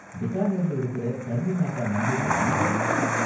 பிகானேர்ல இருக்கற கர்ணி மாதா மந்திர் பத்தியும் எனக்கு சொல்லு.